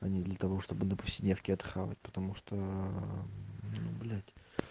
а не для того чтобы на повседневки это хавать потому что ну блять